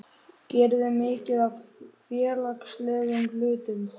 geriði mikið af félagslegum hlutum?